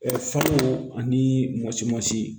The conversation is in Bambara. Ɛɛ faw ani mɔtimansi